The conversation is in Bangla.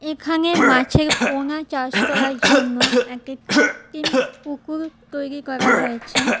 এখানে মাছের পোনা চাষ করার জন্য একটা কৃত্রিম পুকুর তৈরি করা হয়েছে।